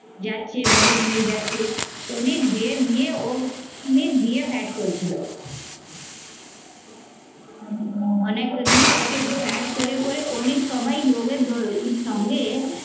যাচ্ছে মেরে মেরে যাচ্ছে শ্রমিকদের দিয়ে ও উনি দিয়ে করছিল অনেকটা দিয়ে ওকে flat করে করে অনেক সবাই এ সঙ্গে